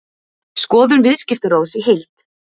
Skoðun Viðskiptaráðs í heild